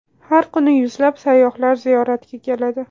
Har kuni yuzlab sayyohlar ziyoratga keladi.